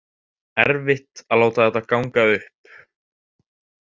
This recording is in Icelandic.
Erfitt að láta þetta ganga upp